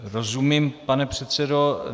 Rozumím, pane předsedo.